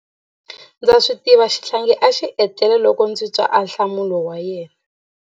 Ndza swi tiva xihlangi a xi etlele loko ndzi twa ahlamulo wa yena.